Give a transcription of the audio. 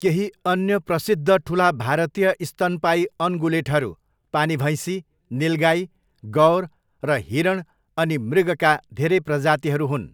केही अन्य प्रसिद्ध ठुला भारतीय स्तनपायी अनगुलेटहरू पानी भैँसी, निलगाई, गौर र हिरण अनि मृगका धेरै प्रजातिहरू हुन्।